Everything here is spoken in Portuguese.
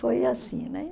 Foi assim, né?